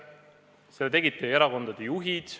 Selle tegid teie erakondade juhid.